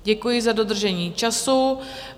Děkuji za dodržení času.